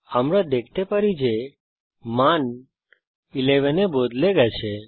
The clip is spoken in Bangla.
আমরা দেখতে পারি যে মান 11 এ বদলে গেছে